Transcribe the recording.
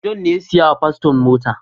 John ne ya saya wa paston mota.